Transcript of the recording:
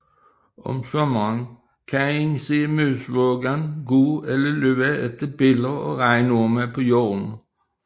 Om sommeren kan man se musvågen gå eller løbe efter biller og regnorme på jorden